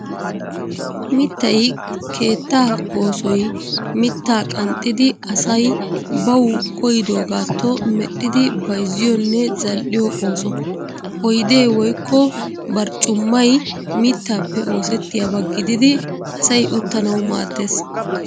Mittay keettaa oosoy mittaa qanxxidi asay bawu koyyidoogaatto medhdhidi bayzziyoonne zal'iyoo ooso. Oydee woykko barccummay mittaappee oosettiyaaba gididi asay uttanawu maaddees.